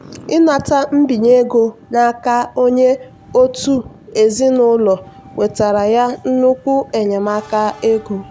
ịnata mbinye ego n'aka onye otu ezinụlọ wetara ya nnukwu enyemaka ego.